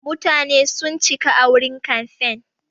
Mutane sun cika a wurin kamfen.